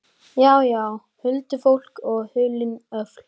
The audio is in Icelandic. Já, já, huldufólk og hulin öfl.